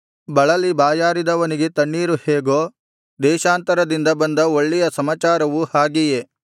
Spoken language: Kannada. ಬಳಲಿ ಬಾಯಾರಿದವನಿಗೆ ತಣ್ಣೀರು ಹೇಗೋ ದೇಶಾಂತರದಿಂದ ಬಂದ ಒಳ್ಳೆಯ ಸಮಾಚಾರವು ಹಾಗೆಯೇ